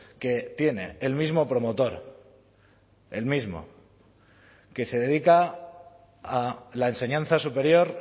que tiene el mismo promotor el mismo que se dedica a la enseñanza superior